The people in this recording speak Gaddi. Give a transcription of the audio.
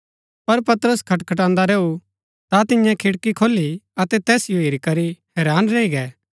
पर पतरस खटखटान्दा रैऊ ता तिन्ये खिड़की खोली अतै तैसिओ हेरी करी हैरान रैई गै